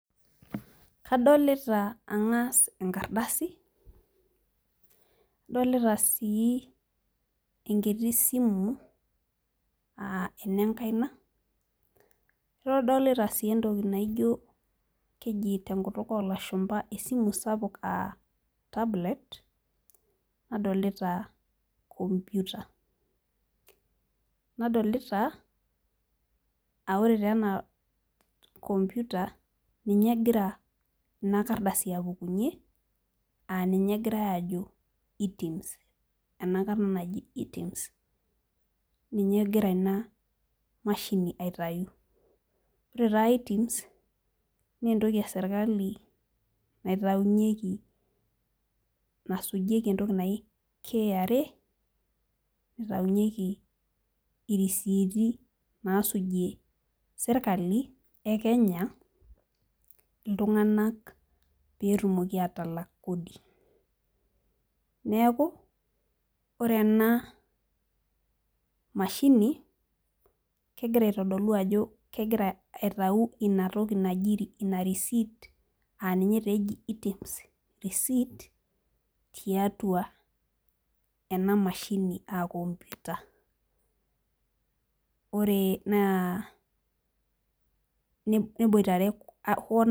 Kadoluta angas enkardasi, adolita sii enkiti simu aa enenkaina. adolita sii enkiti toki keji tenkutukoolashumpa aa tablet naadolita aa ore taa ena computer ninye egira Ina kardasi apukunye aa ninye egirae aajo eTiMS ena Karna naji eTiMS ninye egira Ina mashini taa aitayu. ore taa eTiMS naa entoki esirkali.